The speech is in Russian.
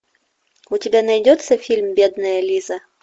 у тебя найдется фильм бедная лиза